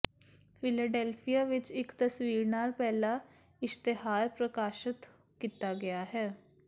Philadelphia ਵਿਚ ਇਕ ਤਸਵੀਰ ਨਾਲ ਪਹਿਲਾ ਇਸ਼ਤਿਹਾਰ ਪ੍ਰਕਾਸ਼ਤ ਕੀਤਾ ਗਿਆ ਹੈ